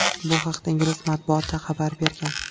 Bu haqda ingliz matbuoti xabar bergan.